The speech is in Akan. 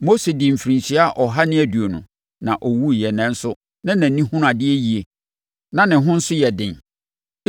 Mose dii mfirinhyia ɔha ne aduonu, na ɔwuiɛ nanso na nʼani hunu adeɛ yie na ne ho nso yɛ den.